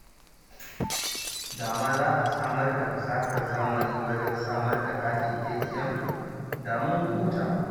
Da ma za a samar da fasahar zamani wajen samar da katin ATM, da mun huta